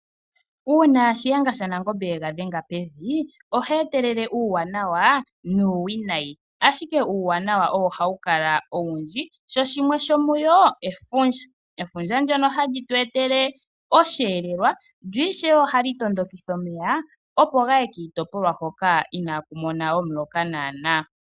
Uuna Shiyenga shaNangombe yega dhenga pevi, ohe etelele uuwanawa nuuwinayi., ashike uuwanawa ohawu kala owundji, sho shimwe shomuyo efundja. Efundja ndyono hali tweetele osheelelwa, lyo ishewe ohali tondokitha omeya opo gaye kiitopolwa hoka inaaku mona omuloka nawa nawa.